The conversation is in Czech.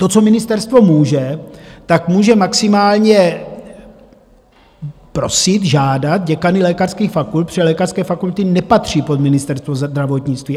To, co ministerstvo může, tak může maximálně prosit, žádat děkany lékařských fakult, protože lékařské fakulty nepatří pod Ministerstvo zdravotnictví.